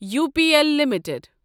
U P L limited